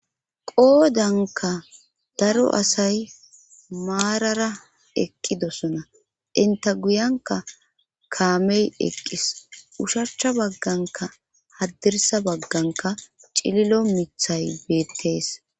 Qoodanka daro asay maarara eqqidosona inta guyanka kaamey eqqis ushacha bagganka haddirsa bagganka cililo mithay beettees.